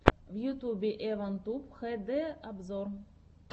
в ютюбе эван туб хэ дэ обзор